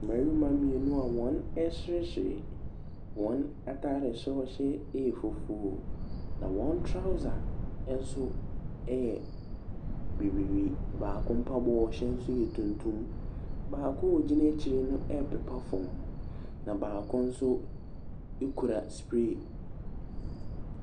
Mmarima mmienu a wɔreseresere. Wɔn atadeɛ soro a wɔhyɛ yɛ fufuo, na wɔn trouser nso yɛ bibire. Baabo mpaboa a ɔhyɛ nso yɛ tuntum. Baako a ɔgyina akyire no repepa fam, na baako nso kura spray.